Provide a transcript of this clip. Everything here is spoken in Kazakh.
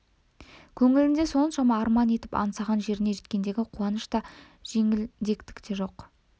көңілінде соншама арман етіп аңсаған жеріне жеткендегі қуаныш та жеңілдік те жоқ